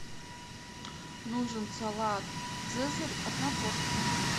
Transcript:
нужен салат цезарь одна порция